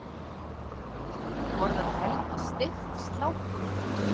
Borðar Helgi steikt slátur?